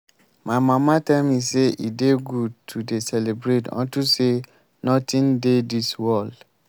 my mama tell me say e dey good to dey celebrate unto say nothing dey dis world